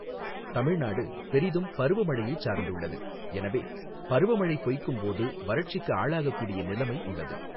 தமிழ்நாடு பெரிதும் பருவமழையை சார்ந்துள்ளது, எனவே பருவமழை பொய்க்கும் போது வறட்சிக்கு ஆளாகக்கூடிய நிலைமை உள்ளது.